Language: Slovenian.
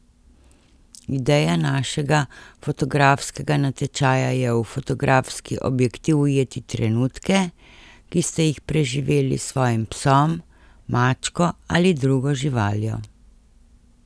Ideja našega fotografskega natečaja je v fotografski objektiv ujeti trenutke, ki ste jih preživeli s svojim psom, mačko ali drugo živaljo.